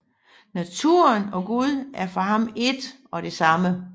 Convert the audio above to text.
Naturen og Gud er for ham ét og det samme